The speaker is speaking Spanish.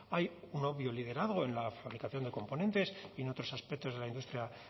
hay un obvio liderazgo en la fabricación de componentes y en otros aspectos de la industria